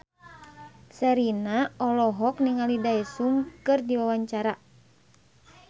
Sherina olohok ningali Daesung keur diwawancara